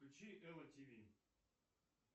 включи элла ти ви